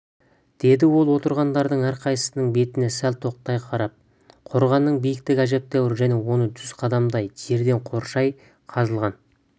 деді ол отырғандардың әрқайсысының бетіне сәл тоқтай қарап қорғанының биіктігі әжептәуір және оны жүз қадамдай жерден қоршай қазылған